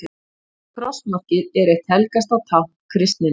krossmarkið er eitt helgasta tákn kristninnar